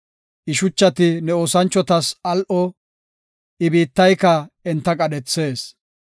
I shuchati ne oosanchotas al7o; I biittayka enta qadhethees.